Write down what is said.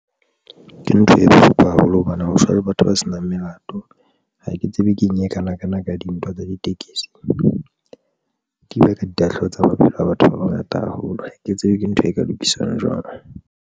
Ke ntho e bohloko haholo hobane ho shwa le batho ba senang melato. Ha ke tsebe ke eng e kanakana ka dintwa tsa ditekesi, ke ile ka ditahlehelo tsa maphelo a batho ba bangata haholo. Ha ke tsebe ke ntho e ka lokisang jwang.